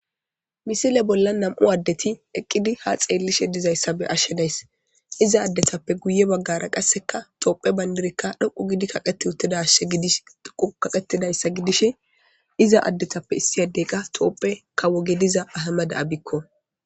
Misile bolla nam7u addeti eqqidi ha xeellishe dizayssa be'ashshe days iza addetappe guye baggara qasseka toophe bayndirekka dhoqu gidi kaqeti uttidashshe gidish dhoqu kaqetidayssa gidish iza addetappe issi addey qa toopphe kawoge diza ahamada7abikko.